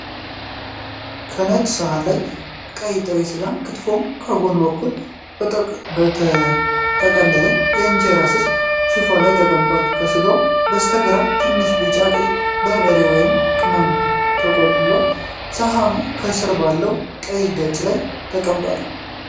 የነጭ ሰሃን ላይ ቀይ ጥሬ ስጋ (ክትፎ) በጎን በኩል በተጠቀለለ የእንጀራ ስስ ሽፋን ላይ ተቀምጧል። ከስጋው በስተግራ ትንሽ ቢጫማ ቀይ በርበሬ ወይም ቅመም ተቆልሏል። ሰሃኑ ከስር ባለው ቀይ ገጽ ላይ ተቀምጧል።